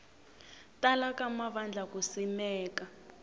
tala ka mavandla ku simeka